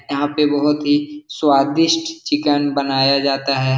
यहां पे बहोत ही स्वादिष्ट चिकन बनाया जाता है।